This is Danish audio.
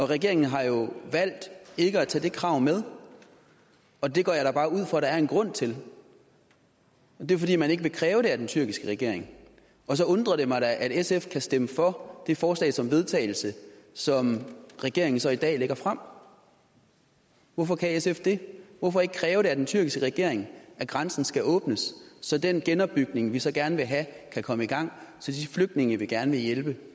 regeringen har jo valgt til ikke at tage det krav med og det går jeg da bare ud fra at der er en grund til det er fordi man ikke vil kræve det af den tyrkiske regering og så undrer det mig da at sf kan stemme for det forslag til vedtagelse som regeringen så i dag lægger frem hvorfor kan sf det hvorfor ikke kræve af den tyrkiske regering at grænsen skal åbnes så den genopbygning vi så gerne vil have kan komme i gang så de flygtninge vi gerne vil hjælpe